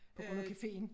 På grund af cafeen